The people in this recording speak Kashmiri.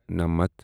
نَمتھ